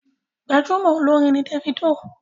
Gbajúmọ̀ olórin ni Davido.